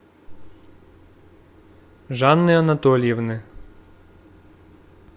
жанны анатольевны